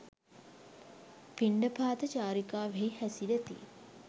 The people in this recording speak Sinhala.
පිණ්ඩපාත චාරිකාවෙහි හැසිරෙති.